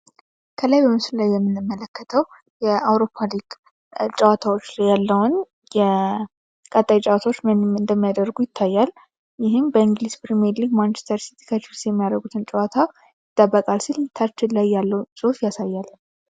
የአውሮፓ ሊግ ጨዋታዎች ያለውን ጨዋታዎች ምንም እንደሚያደርጉ ይታያል። ይህም በእንግሊዝ ፕርሜርሊግ ማንቺስተር ሲቲ ጨዋታ ሲል ላይ ያለው ጽሑፍ ያሳያል